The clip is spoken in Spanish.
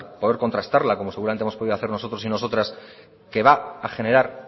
poder contrastarla como seguramente hemos podido hacer nosotros y nosotras que va a generar